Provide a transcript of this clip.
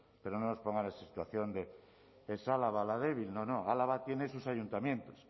pero no nos pongan en la situación de que es álava la débil no no álava tiene sus ayuntamientos